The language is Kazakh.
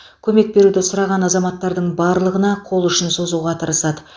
көмек беруді сұраған азаматтардың барлығына қол ұшын созуға тырысады